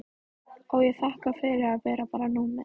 Og ég þakkaði fyrir að vera bara númer.